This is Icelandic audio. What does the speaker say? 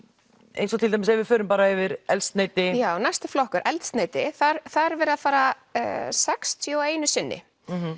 eins og til dæmis ef við förum bara yfir eldsneyti já næsti flokkur eldsneyti þar þar er verið að fara sextíu og einu sinni